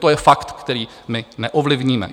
To je fakt, který my neovlivníme.